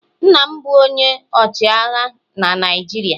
Nna m bụ onye ọchịagha na Naịjirịa.